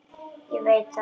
Ég veit það, sagði Tóti.